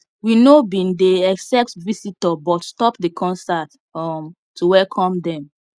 we no bin dey except visitor but stop the concert um to welcome them